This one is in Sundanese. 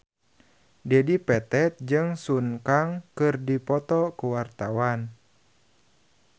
Dedi Petet jeung Sun Kang keur dipoto ku wartawan